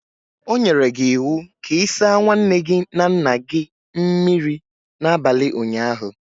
O nyere gi iwu ka i sa nwaanne gi na nna gi mmiri n'abali ụnyaahụ.